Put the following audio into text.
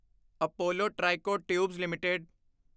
Apollo Tricoat Tubes LTD